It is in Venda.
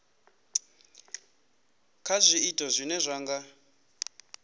kha zwiito zwine zwa nga